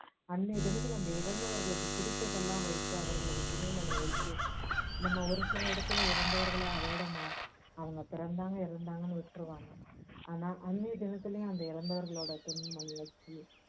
அன்னைய தினத்துல அந்த இறந்தவைகளுக்கு பிடிச்ச்தையெல்லாம் வைத்து அவர்களுக்கு துணி மணி வைத்து நம்ம ஒரு சில இடத்துல இறந்தவர்கள அதோட ம~ அவங்க பிறந்தாங்க இறந்தாங்கன்னு விட்டுருவாங்க ஆனால் அன்னைய தினத்துலயும் அந்த இறந்தவர்களோட துணி மணி வச்சி